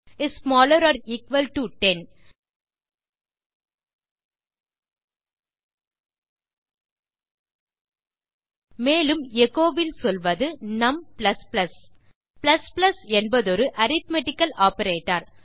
is smaller or equal to 10 மேலும் எச்சோ வில் சொல்வது நும் என்பதொரு அரித்மெட்டிக்கல் ஆப்பரேட்டர்